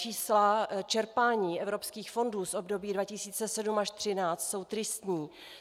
Čísla čerpání evropských fondů z období 2007 až 2013 jsou tristní.